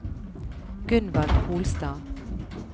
Gunvald Holstad